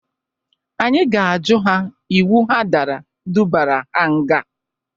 Anyị ga-ajụ ha iwu ha dara dubara ha nga.